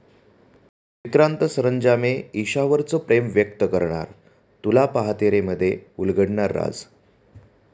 विक्रांत सरंजामे ईशावरचं प्रेम व्यक्त करणार? 'तुला पाहते रे'मध्ये उलगडणार राज